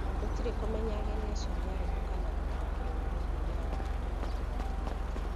Gũtirĩ kũmenya ageni acio nĩ arĩkũ kana gũtaũkĩrũo nĩ mĩthiĩre yao nĩ kũrĩ na mogwati maingĩ.